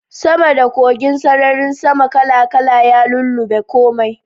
Sama da kogin, sararin sama kala-kala ya lullube komai.